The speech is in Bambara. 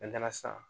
sisan